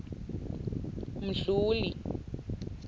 mdluli